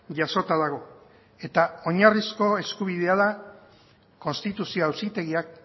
jasota dago eta oinarrizko eskubidea da konstituzio auzitegiak